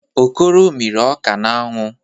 Okoro mịrị ọka n'anwụ.